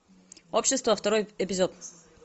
общество второй эпизод